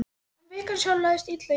En vikan sjálf lagðist illa í mig.